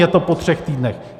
Je to po třech týdnech.